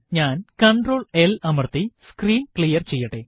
ഞാൻ control L അമര്ത്തി screen clear ചെയ്യട്ടെ